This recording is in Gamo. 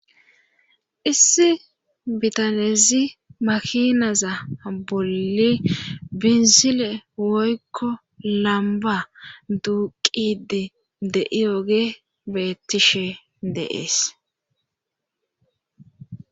Issi bitanezi makinaza bolli binzile woykko lamba duuqidi de7i oge beettishe deees